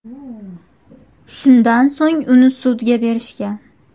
Shundan so‘ng uni sudga berishgan.